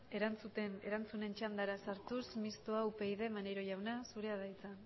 erantzunen txandaraz hartuz mistoa upyd maneiro jauna zurea da hitza